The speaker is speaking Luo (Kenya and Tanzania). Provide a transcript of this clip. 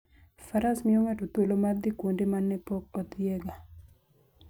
Faras miyo ng'ato thuolo mar dhi kuonde ma ne pok odhiyega.